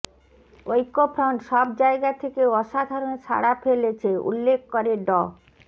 ঐক্যফ্রন্ট সব জায়গা থেকে অসাধারণ সাড়া ফেলেছে উল্লেখ করে ড